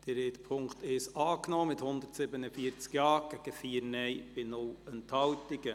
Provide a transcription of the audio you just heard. Sie haben die Ziffer 1 der Motion überwiesen, mit 147 Ja- zu 4 Nein-Stimmen ohne Enthaltungen.